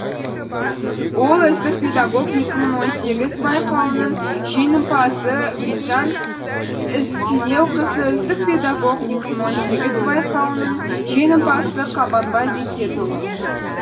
ол үздік педагог екі мың он сегіз байқауының жеңімпазы гүлназ ізтілеуқызы үздік педагог екі мың он сегіз байқауының жеңімпазы қабанбай бекетұлы